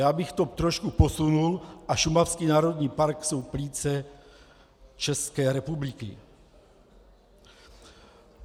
Já bych to trošku posunul - a šumavský národní park jsou plíce České republiky.